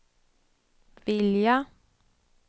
vilja